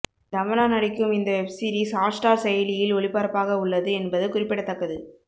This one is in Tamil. தமன்னா நடிக்கும் இந்த வெப்சீரிஸ் ஹாட்ஸ்டார் செயலியில் ஒளிபரப்பாக உள்ளது என்பது குறிப்பிடத்தக்கது